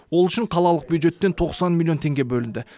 ол үшін қалалық бюджеттен тоқсан миллион теңге бөлінді